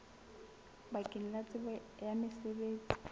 bakeng la tsebo ya mosebetsi